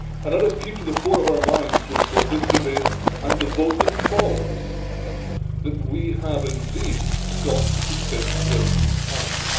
And let us keep to the fore of our minds during both this debate and the vote that follows that we have indeed got to stick with Paris.